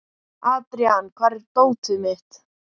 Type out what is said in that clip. Adrian, hvar er dótið mitt?